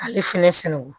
K'ale fɛnɛ sɛnɛ